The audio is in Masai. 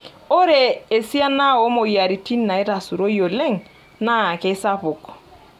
Ore esiana oo moyiaritin naitarasaroi oleng naa keisapuk.